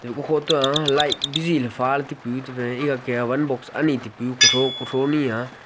okho toa light biziley phaley taipu tefe egake wan box ani taipu kuthro kuthro nai.